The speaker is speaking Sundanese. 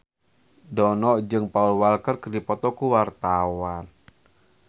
Dono jeung Paul Walker keur dipoto ku wartawan